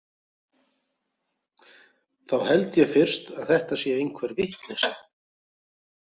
Þá held ég fyrst að þetta sé einhver vitleysa.